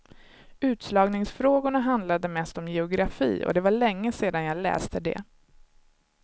Utslagningsfrågorna handlade mest om geografi och det var länge sedan jag läste det.